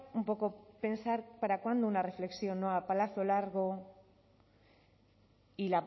un poco pensar para cuándo una reflexión no a plazo largo y